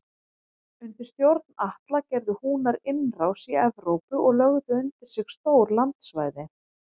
Undir stjórn Atla gerðu Húnar innrás í Evrópu og lögðu undir sig stór landsvæði.